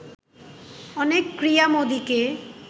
অনেক ক্রীড়ামোদীকে